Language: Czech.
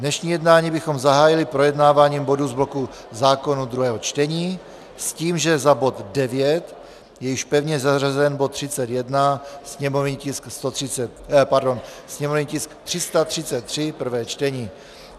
Dnešní jednání bychom zahájili projednáváním bodů z bloku zákonů druhého čtení s tím, že za bod 9 je již pevně zařazen bod 31, sněmovní tisk 333, prvé čtení.